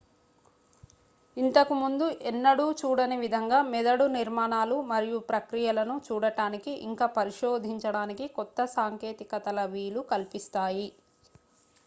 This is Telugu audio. ఇంతకు ముందు ఎన్నడూ చూడని విధంగా మెదడు నిర్మాణాలు మరియు ప్రక్రియలను చూడటానికి ఇంక పరిశోధించడానికి కొత్త సాంకేతికతల వీలు కల్పిస్తాయి